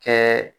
Kɛ